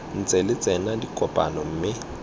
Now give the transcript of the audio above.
ntse lo tsena dikopano mme